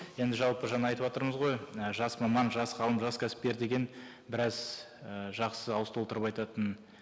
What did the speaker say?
енді жалпы жаңа айтыватырмыз ғой і жас маман жас қауым жас кәсіпкер деген біраз і жақсы ауыз толтырып айтатын